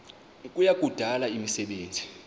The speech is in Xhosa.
kuya kudala imisebenzi